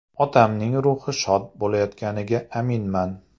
Otamning ruhi shod bo‘layotganiga aminman.